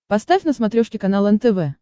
поставь на смотрешке канал нтв